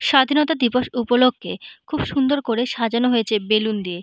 স্বাধীনতা দিবস উপলক্ষে খুব সুন্দর করে সাজানো হয়েছে বেলুন দিয়ে।